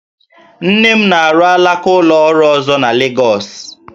Nne m na-arụ alaka ụlọ ọrụ ọzọ na Legọs